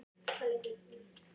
Mun það gerast á þessari leiktíð?